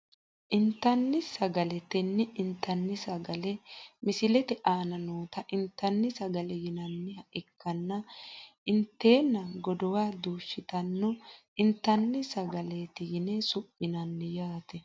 intani sagale tene intani sagale misilete aana noota intani sagale yinaniha ikana inteena godowa duushitanota intani sagaleeti yine su`minani yaate.